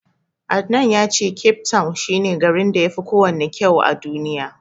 Adnan ya ce Cape town shi ne garin da yafi kowanne kysu a Duniya.